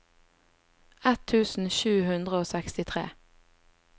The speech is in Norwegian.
ett tusen sju hundre og sekstitre